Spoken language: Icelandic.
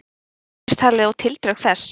Misseristalið og tildrög þess.